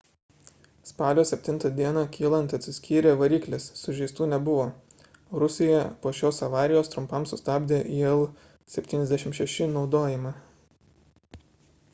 spalio 7 d kylant atsiskyrė variklis sužeistų nebuvo rusija po šios avarijos trumpam sustabdė il-76 naudojimą